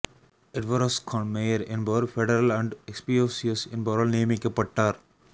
எட்வரோஸ் கான் மேயர் என்பவர் federal and எக்ஸ்பியோஸியோஸ் என்பவரால் நியமிக்கப்பட்டார்